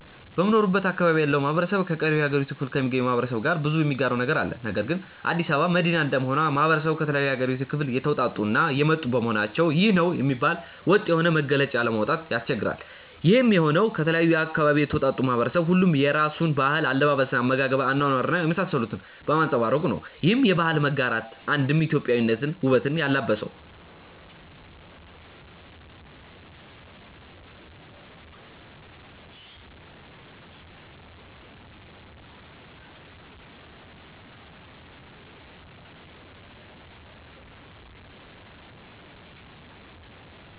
በምኖርበት አካባቢ ያለው ማህበረሰብ ከቀሪው የሀገሪቱ ክፍሎ ከሚገኘው ማህበረሰብ ጋር ብዙ የሚጋራው ነገር አለ። ነገር ግን አዲስ አበባ መዲና እንደመሆኑ ማህበረሰቡ ከተለያዩ የሀገሪቷ ክፍል የተወጣጡ እና የመጡ በመሆናቸው ይህ ነው የሚባል ወጥ የሆነ መገለጫ ለማውጣት ያስቸግራል። ይሄም የሆነው ከተለያየ አካባቢ የተውጣጣው ማህበረሰብ ሁሉም የየራሱን ባህል፣ አለባበስ፣ አመጋገብ፣ አኗኗር እና የመሳሰሉትን በማንፀባረቁ ነው። ይህም የባህል መጋራት ነው አንድም ኢትዮጵያዊነትን ውበት ያላበሰው።